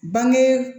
Bange